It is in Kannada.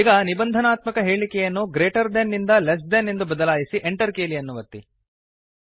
ಈಗ ನಿಬಂಧನಾತ್ಮಕ ಹೇಳಿಕೆಯನ್ನುಗ್ರೇಟರ್ ದೆನ್ ನಿಂದ ಲೆಸ್ ದೆನ್ ಎಂದು ಬದಲಾಯಿಸಿEnter ಕೀಲಿಯನ್ನು ಒತ್ತಿರಿ